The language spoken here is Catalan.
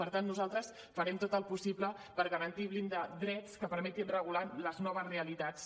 per tant nosaltres farem tot el possible per garantir i blindar drets que permetin regular les noves realitats